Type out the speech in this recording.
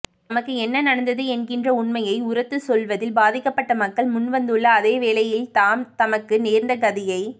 தமக்கு என்ன நடந்தது என்கின்ற உண்மையை உரத்துச் சொல்வதில் பாதிக்கப்பட்ட மக்கள் முன்வந்துள்ள அதேவேளையில் தாம் தமக்கு நேர்ந்த கதியை